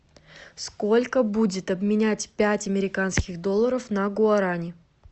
сколько будет обменять пять американских долларов на гуарани